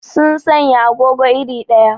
Sun sanya agogo iri ɗaya.